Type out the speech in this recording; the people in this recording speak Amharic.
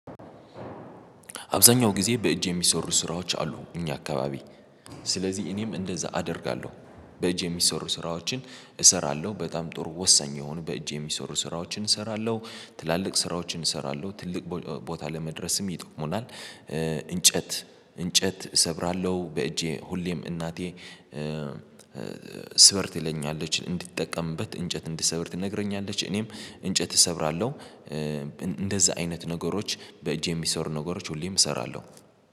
አብዛኛው ጊዜ በእጅ የሚሰሩ ስራዎች አሉ። እኛ አካባቢ ስለዚህ እኔም እንደዛ አደርጋለሁ። በእጅ የሚሰሩ ስራዎችን እሰራለሁ በጣም ጥሩ ወሳኝ የሆኑ በእጅ የሚሰሩ ስራዎችን እሰራለሁ። ትላልቅ ስራዎችን እሰራለሁ ትልቅ ቦታ ለመድረስም ይጠቅሙናል። እንጨት እንጨት እሰብራለሁ በእጄ ሁሌም እናቴ ስበር ትለኛለች እንድትጠቀምበት እንጨት እንድሰብር ትነግረኛለች እኔም እንጨት እሰብራለሁ። እንደዛ አይነት ነገሮች በእጅ የሚሰሩ ነገሮች ሁሌም እሰራለሁ